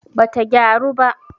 bata gyaru ba